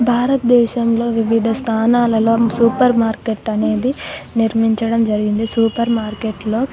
భారతదేశంలో వివిధ స్థానాలలో సూపర్ మార్కెట్ అనేది నిర్మించడం జరిగిందిసూపర్ మార్కెట్ --.